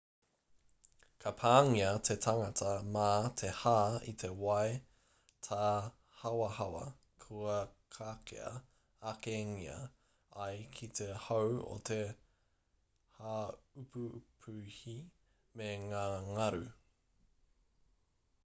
ka pāngia te tangata mā te hā i te wai tāhawahawa kua kakea akengia ai ki te hau e te haupupuhi me ngā ngaru